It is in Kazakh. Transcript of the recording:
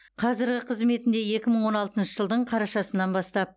қазіргі қызметінде екі мың он алтыншы жылдың қарашасынан бастап